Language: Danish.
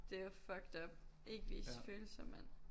Det jo fucked up ikke vis følelser mand